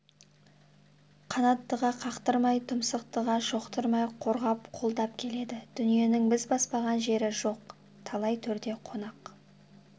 қанаттыға қақтырмай тұмсықтыға шоқыттырмай қорғап қолдап келеді дүниенің біз баспаған жері жоқ талай төрде қонақ